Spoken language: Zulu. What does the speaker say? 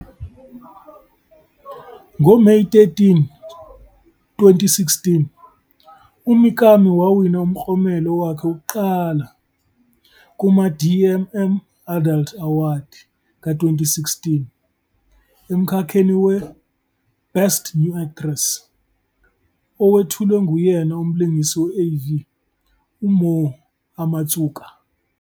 NgoMeyi 13, 2016, uMikami wawina umklomelo wakhe wokuqala wokuqala kuma-DMM Adult Awadi ka-2016 emkhakheni we- "Best New Actress" owethulwe nguyena umlingisi we-AV uMoe Amatsuka.